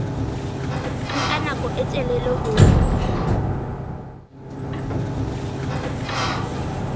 nka nako e telele ho